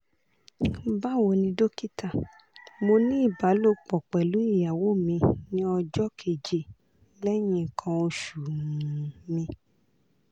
bawoni dokita mo ni ibalopo pelu iyawo mi ni ojo keje lehin ikan osu um mi